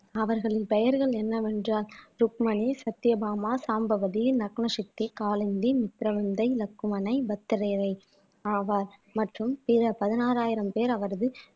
அவர்களின் பெயர்கள் என்னவென்றால் ருக்மணி சத்யபாமா சாம்பவதி நக்னசக்தி காலந்தி மித்திரவிந்தை லக்குமனை பத்திரயரை ஆவார் மற்றும் பிற பதினாறாயிரம் பேர் அவரது